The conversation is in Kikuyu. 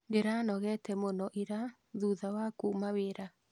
Ndĩranogete muno ira thutha wa kuma wĩra